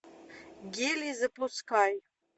гелий запускай